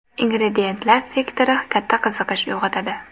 Ingrediyentlar» sektori katta qiziqish uyg‘otadi.